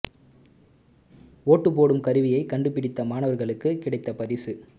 ஓட்டு போடும் கருவியை கண்டு பிடித்த மாணவர்களுக்கு கிடைத்த பரிசு